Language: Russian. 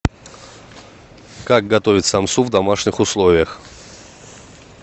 как готовить самсу в домашних условиях